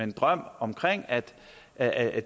en drøm om at at